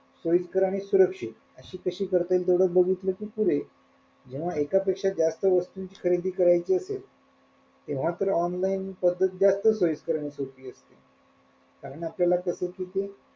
सोईस्कर आणि सुरक्षित अशी कशी करता येईल तेवढं बघितलं कि पुरे जेव्हा एका पेक्षा जास्त वस्तूची खरेदी करायची असेल तेव्हा तर online पद्धत जास्त सोईस्करआणि आपल्याला कस तिगून,